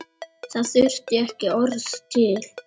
Það þurfti ekki orð til.